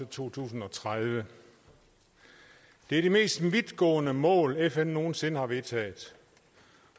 to tusind og tredive det er de mest vidtgående mål fn nogen sinde har vedtaget